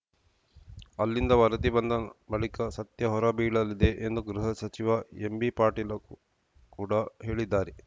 ಅಲ್ಲಿಂದ ವರದಿ ಬಂದ ಬಳಿಕ ಸತ್ಯ ಹೊರಬೀಳಲಿದೆ ಎಂದು ಗೃಹ ಸಚಿವ ಎಂಬಿಪಾಟೀಲ ಕೂಡ ಹೇಳಿದ್ದಾರೆ